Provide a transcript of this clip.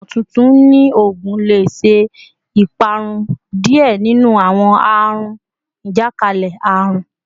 Awọn imotuntun ni oogun le ṣe iparun diẹ ninu awọn aarun ajakalẹ-arun